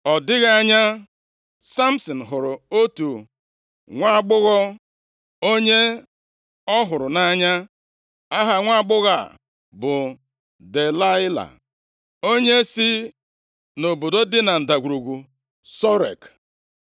Ọ dịghị anya, Samsin hụrụ otu nwaagbọghọ, onye ọ hụrụ nʼanya. Aha nwaagbọghọ a bụ Delaịla, onye si nʼobodo dị na Ndagwurugwu Sorek.